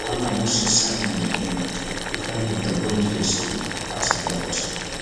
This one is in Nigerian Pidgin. rwanda moses simon again e find victor boniface um pass blocked